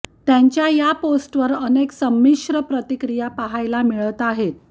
त्यांच्या या पोस्टवर अनेक संमिश्र प्रतिक्रिया पाहायला मिळत आहेत